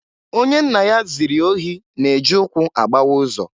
Onye nna ya ziri ohi na-e ji ụkwụ agbawa ụzọ.